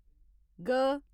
ग